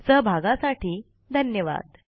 सहभागासाठी धन्यवाद